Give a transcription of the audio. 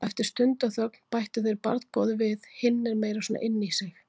Og eftir stundarþögn bættu þeir barngóðu við: Hinn er meira svona inní sig.